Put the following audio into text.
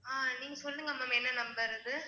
ஆஹ் நீங்க சொல்லுங்க ma'am என்ன number அது?